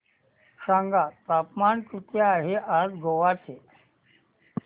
सांगा तापमान किती आहे आज गोवा चे